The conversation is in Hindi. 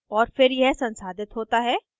और फिर यह संसाधित होता है